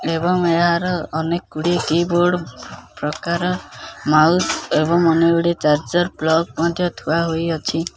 ଏବଂ ଏହାର ଅନେକ ଗୁଡ଼ିଏ କିବୋର୍ଡ଼ ପ୍ରକାର ମାଉସ ଏବଂ ଅନେକ ଗୁଡ଼ିଏ ଚାର୍ଜର ପ୍ଲକ୍ ମଧ୍ୟ ଥୁଆ ହୋଇଅଛି।